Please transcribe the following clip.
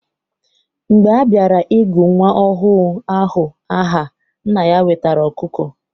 Mgbe a bịara I gụ nwa ọhụụ ahụ aha, nna ya wetara ọkụkọ.